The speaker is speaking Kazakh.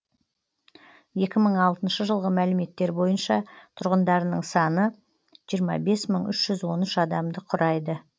екі мың алтыншы жылғы мәліметтер бойынша тұрғындарының саны жиырма бес мың үш жүз он үш адамды құрайды